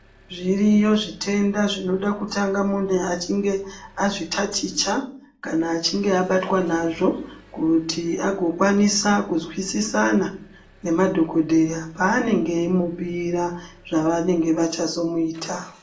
Zviriyo zvitenda zvinoda kutanga muntu achinge azvitaticha kana achinge abatwa nazvo kuti azokwanisa kuzwisisana nemadhokoteya paanenge achimubhiira zvavanenge vachazomuita.